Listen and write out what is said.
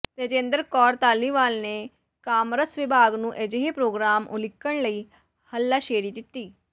ਤੇਜਿੰਦਰ ਕੌਰ ਧਾਲੀਵਾਲ ਨੇ ਕਾਮਰਸ ਵਿਭਾਗ ਨੂੰ ਅਜਿਹੇ ਪ੍ਰੋਗਰਾਮ ਉਲੀਕਣ ਲਈ ਹੱਲਾਸ਼ੇਰੀ ਦਿੱਤੀ